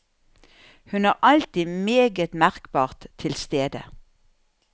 Hun er alltid meget merkbart til stede.